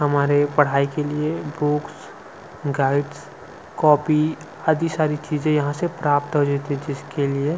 हमारी पढ़ाई के लिए बुक्स गाइड कॉपी आदि सारी चीज यहां से हमें प्राप्त हो जाती है जिसके लिए--